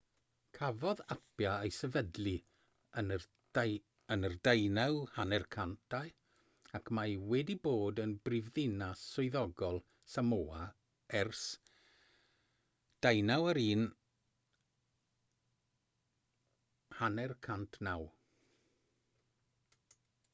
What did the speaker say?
cafodd apia ei sefydlu yn yr 1850au ac mae wedi bod yn brifddinas swyddogol samoa ers 1959